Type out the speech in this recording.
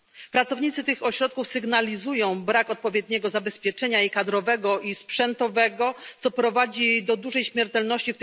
Pracownicy tych ośrodków sygnalizują brak odpowiedniego zabezpieczenia kadrowego i sprzętowego, co prowadzi tam do dużej śmiertelności.